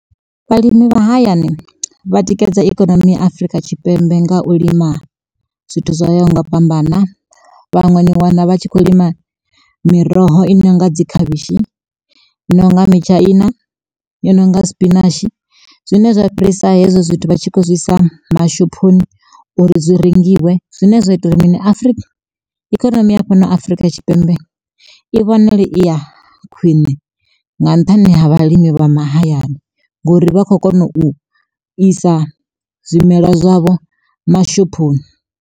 Vhalimi vha mahayani vha tikedza ikonomi ya Afurika Tshipembe nga u lima zwithu zwoyaho nga u fhambana. Vhaṅwe ni wana vha tshi kho lima miroho i nonga dzi khavhishi, i nonga mitshaina, i nonga sipinashi zwine zwa fhirisa hezwo zwithu vha tshi kho zwisa mashophoni uri zwi rengiwe zwine zwa ita uri Afrika ikonomi ya fhano Afrika Tshipembe i vhonale i ya khwiṋe nga nṱhani ha vhalimi vha mahayani ngori vha kho kona u isa zwimelwa zwavho mashophoni.